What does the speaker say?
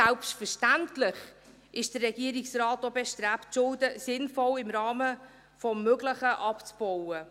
Selbstverständlich ist der Regierungsrat auch bestrebt, die Schulden sinnvoll im Rahmen des Möglichen abzubauen.